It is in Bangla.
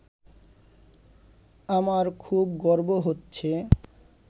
আমার খুব গর্ব হচ্ছে